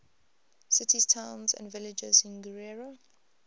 cities towns and villages in guerrero